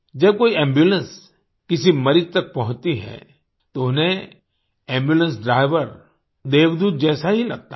जब कोई एम्बुलेंस किसी मरीज तक पहुँचती हैं तो उन्हें एम्बुलेंस ड्राइवर देवदूत जैसा ही लगता है